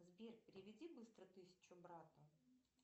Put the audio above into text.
сбер переведи быстро тысячу брату